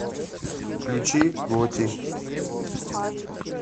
включи готти